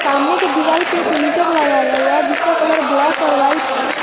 सामने के दीवाल पे एक मीटर लगाया गया हुआ है जिसका कलर ब्लैक और व्हाइट है